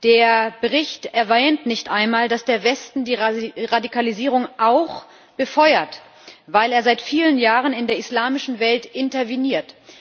Der Bericht erwähnt nicht einmal, dass der Westen die Radikalisierung auch befeuert, weil er seit vielen Jahren in der islamischen Welt interveniert.